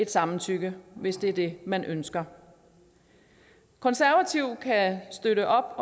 samtykke hvis det er det man ønsker konservative kan støtte